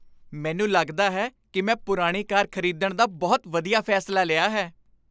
ਮੈਨੂੰ ਲੱਗਦਾ ਹੈ ਕਿ ਮੈਂ ਪੁਰਾਣੀ ਕਾਰ ਖ਼ਰੀਦਣ ਦਾ ਬਹੁਤ ਵਧੀਆ ਫ਼ੈਸਲਾ ਲਿਆ ਹੈ।